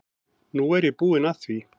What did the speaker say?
Nú er ég búin að því.